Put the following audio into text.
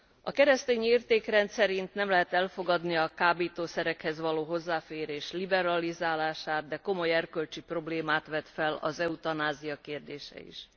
A keresztényi értékrend szerint nem lehet elfogadni a kábítószerekhez való hozzáférés liberalizálását, de komoly erkölcsi problémát vet fel az eutanázia kérdése is.